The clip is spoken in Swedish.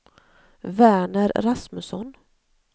Verner Rasmusson